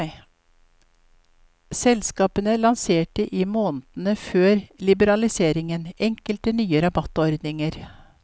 Selskapene lanserte i månedene før liberaliseringen enkelte nye rabattordninger.